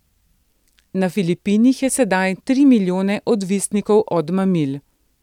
Na Filipinih je sedaj tri milijone odvisnikov od mamil.